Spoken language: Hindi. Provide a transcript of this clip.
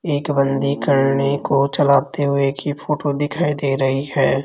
एक बन्दी करनी को चलाते हुए की फोटो दिखाई दे रही है।